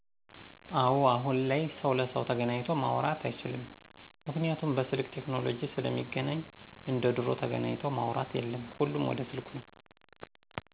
አወ አሁን ላይ ሰው ለሰው ተገናኚቶ ማውራት አይችልምጰምክንያቱም በስልክ ቴክኖለጂ ስለሚገናኚ እንደ ድሮው ተገናኚተው ማውራት የለም ሁሉም ወደ ስልኩ ነው።